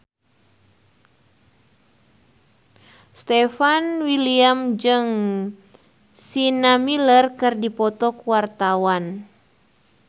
Stefan William jeung Sienna Miller keur dipoto ku wartawan